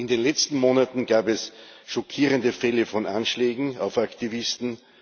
In den letzten Monaten gab es schockierende Fälle von Anschlägen auf Aktivisten.